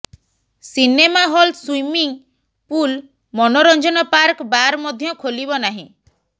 cinema hall swimming pool ମନୋରଂଜନ park bar ମଧ୍ୟ ଖୋଲିବ ନାହିଁ